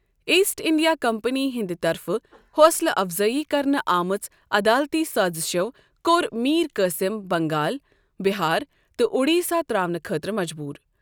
East India Company ہندِ طرفہٕ حوصلہٕ افزٲیی کرنہٕ آمژو عدالتی سأزشو کوٚر میر قاصم بنگال، بِہار تہٕ اوڈِسا ترٛاونہٕ خأطرٕ مجبوٗر